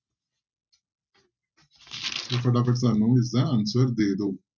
ਤੇ ਫਟਾਫਟ ਸਾਨੂੰ ਇਸਦਾ answer ਦੇ ਦਓ।